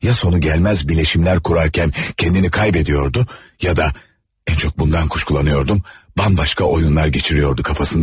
Ya sonu gəlməz birləşmələr qurarkən özünü itirirdi, ya da ən çox bundan şübhələnirdim, bambaşqa oyunlar keçirirdi kafasından.